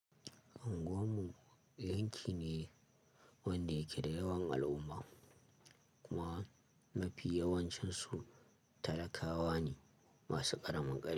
Anguwan mu yanki ne wanda yake da yawan al'umma kuma mafi yawancinsu talakawa ne masu ƙaramin kar--